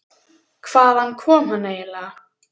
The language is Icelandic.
Hvaðan kom hann eiginlega?